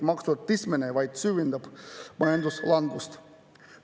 Maksude tõstmine vaid süvendab majanduslangust.